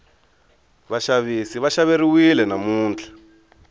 vaxavisi va xaveriwile namuntlha